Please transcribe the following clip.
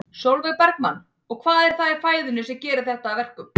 Sólveig Bergmann: Og hvað er það í fæðunni sem að gerir þetta að verkum?